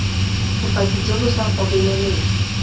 bopaki jo bo sa gobeleleng